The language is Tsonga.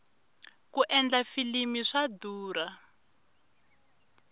ku endla filimi swa durha